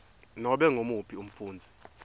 nobe ngumuphi umfundzi